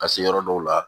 Ka se yɔrɔ dɔw la